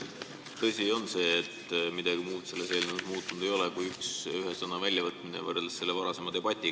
Tõsi on see, et midagi muud selles eelnõus muutunud ei ole, kui et üks sõna on sellest varasemast tekstist, mille üle oli debatt, välja jäetud.